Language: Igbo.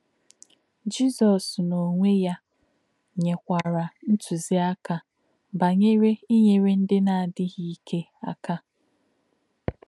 Jizọ́s n’ọ̀nwé̄ yá̄ nyè̄kwà̄rà̄ ntụ̀zí̄à̄kà̄ bá̄nyèrè̄ ínyèrè̄ ndí̄ nā̄-ádí̄ghí̄ íkè̄ ákà̄.